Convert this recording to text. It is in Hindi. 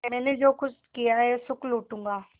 मैंने जो कुछ किया है सुख लूटूँगा